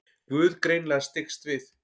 Guð greinilega styggst við.